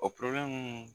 O